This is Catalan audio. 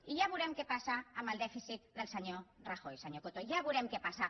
i ja veurem què passa amb el dèficit del senyor rajoy senyor coto ja veurem què passa